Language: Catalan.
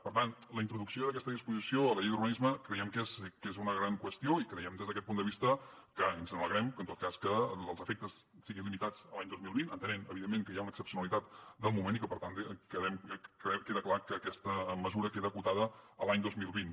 per tant la introducció d’aquesta disposició a la llei d’urbanisme creiem que és que és una gran qüestió i creiem des d’aquest punt de vista que ens alegrem en tot cas que els efectes siguin limitats a l’any dos mil vint entenent evidentment que hi ha una excepcionalitat del moment i que per tant queda clar que aquesta mesura queda acotada a l’any dos mil vint